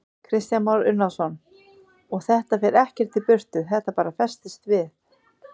Kristján Már Unnarsson: Og þetta fer ekkert í burtu, þetta bara festist við?